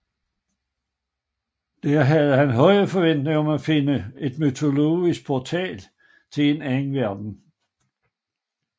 Der havde han høje forventninger om at finde en mytologisk portal til en anden verden